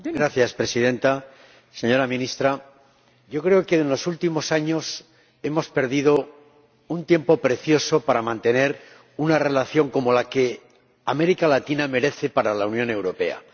Señora Presidenta, señora Ministra, yo creo que en los últimos años hemos perdido un tiempo precioso para mantener la relación que América Latina merece con la Unión Europea.